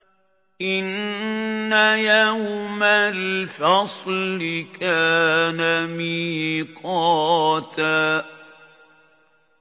إِنَّ يَوْمَ الْفَصْلِ كَانَ مِيقَاتًا